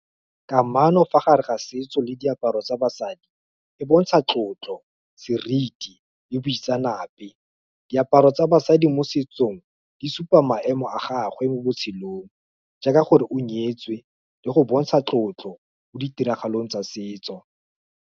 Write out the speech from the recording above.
Kamano fa gare ga setso le diaparo tsa basadi, e bontsha tlotlo, seriti, le boitseanape, diaparo tsa basadi mo setsong, di supa maemo a gagwe mo botshelong, jaaka gore o nyetswe, le go bontsha tlotlo, mo ditiragalong tsa setso.